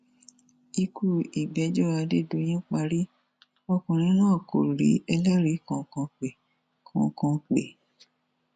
ikú ìgbẹjọ adédọyìn parí ọkùnrin náà kò rí ẹlẹrìí kankan pé kankan pé